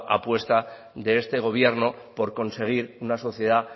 apuesta de este gobierno por conseguir una sociedad